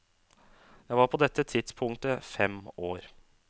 Jeg var på dette tidspunktet fem år.